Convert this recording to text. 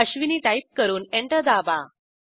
Ashwini type करून enter दाबा